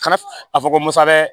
Kana a fɔ ko musa bɛ